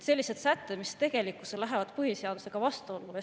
Sellised sätted lähevad tegelikkuses põhiseadusega vastuollu.